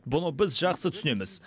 бұны біз жақсы түсінеміз